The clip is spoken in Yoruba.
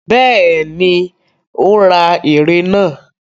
Bẹ́ẹ̀ni, ó ra ère náà.